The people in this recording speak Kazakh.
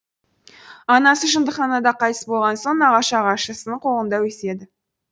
анасы жындыханада қайтыс болған соң нағашы ағашысының қолында өседі